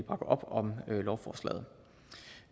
op om lovforslaget